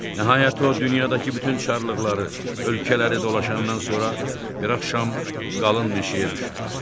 Nəhayət o dünyadakı bütün çarlıqları, ölkələri dolaşandan sonra bir axşam qalın meşəyə düşdü.